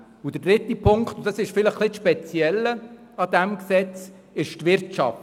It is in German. Der dritte Punkt ist die Wirtschaft.